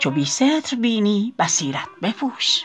چو بی ستر بینی بصیرت بپوش